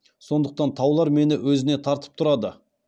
сондықтан таулар мені өзіне тартып тұрады